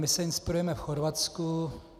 My se inspirujeme v Chorvatsku.